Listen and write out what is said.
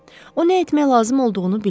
O nə etmək lazım olduğunu buyurur.